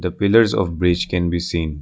The pillars of bridge can be seen.